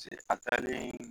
Se a taalen